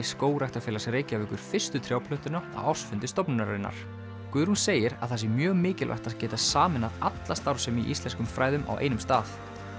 Skógræktarfélags Reykjavíkur fyrstu á ársfundi stofnunarinnar Guðrún segir að það sé mjög mikilvægt að geta sameinað alla starfsemi í íslenskum fræðum á einum stað